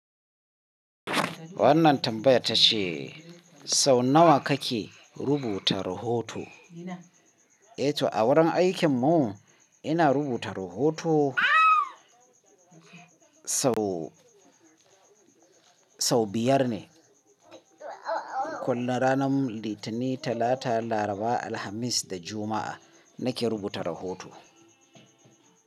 Wannan tambaya ta ce sau nawa kake rubuta rahoto? Eh to a wurin aikin mu ina rubuta rahoto sau, sau biyar ne. Kullum ranar Litani, Talata, Laraba, Alhamis da Juma'a nake rubuta rahoto.